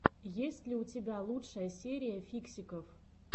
есть ли у тебя лучшая серия фиксиков